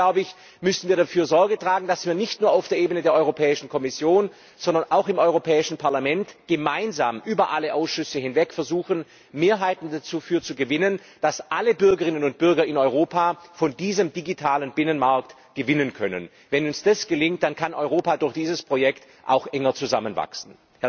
Deswegen müssen wir dafür Sorge tragen, dass wir nicht nur auf der Ebene der Kommission, sondern auch im Europäischen Parlament gemeinsam über alle Ausschüsse hinweg versuchen, Mehrheiten dafür zu gewinnen, dass alle Bürgerinnen und Bürger in Europa von diesem digitalen Binnenmarkt profitieren können. Wenn uns das gelingt, kann Europa durch dieses Projekt auch enger zusammenwachsen.